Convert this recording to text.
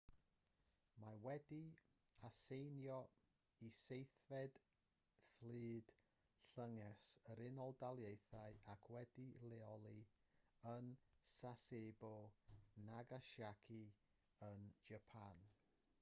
mae wedi'i aseinio i seithfed fflyd llynges yr unol daleithiau ac wedi'i leoli yn sasebo nagasaki yn japan